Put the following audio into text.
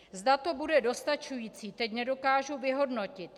Zda to bude dostačující, teď nedokážu vyhodnotit.